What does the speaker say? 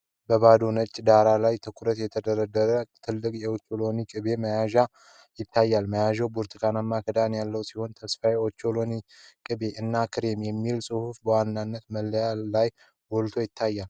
በባዶ ነጭ ዳራ ላይ ትኩረት የተደረገበት ትልቅ የኦቾሎኒ ቅቤ መያዣ ይታያል። መያዣው ብርቱካናማ ክዳን ያለው ሲሆን "ተስፋዬ ኦቾሎኒ ቅቤ" እና "CREAMY" የሚል ጽሑፍ በዋና መለያው ላይ ጎልቶ ይታያል።